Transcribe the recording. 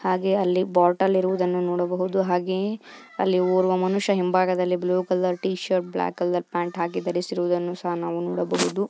ಹಾಗೆ ಅಲ್ಲಿ ಬಾಟಲಿ ಇರುವುದನ್ನ ನೋಡ ಬಹುದು ಹಾಗೆ ಅಲ್ಲಿ ಒವ್ರ ಮನುಷ್ಯ ಹಿಂಬಿವ್ಹಾಗದಲಿ blue colour T shirt black pant ಹಾಕಿ ಧರಿಸಿರೋದನ್ನ ನಾವು ನೋಡಬಹುದು.